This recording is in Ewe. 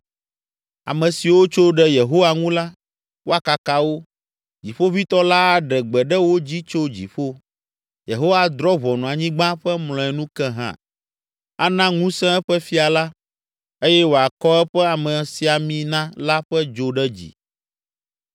ame siwo tso ɖe Yehowa ŋu la, woakaka wo. Dziƒoʋĩtɔ la aɖe gbe ɖe wo dzi tso dziƒo; Yehowa adrɔ̃ ʋɔnu Anyigba ƒe mlɔenu ke hã. “Ana ŋusẽ eƒe fia la eye wòakɔ eƒe amesiamina la ƒe dzo ɖe dzi.”